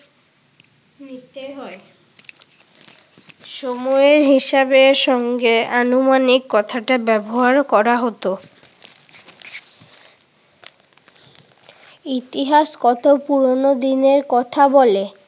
নিতে হয়। সময়ের হিসাবের সঙ্গে আনুমানিক কথাটাও ব্যবহার করা হতো। ইতিহাস কত পুরোনো দিনের কথা বলে?